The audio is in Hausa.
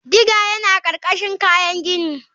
Digger yana ƙarƙashin kayan gini.